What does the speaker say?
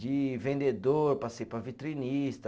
De vendedor, passei para vitrinista.